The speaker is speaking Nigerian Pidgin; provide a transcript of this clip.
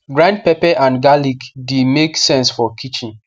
grind pepe and garlic the make sense for kitchen